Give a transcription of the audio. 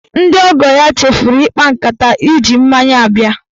Ndị ọgọọ ya chefuru ịkpa nkata iji mmanya bịa.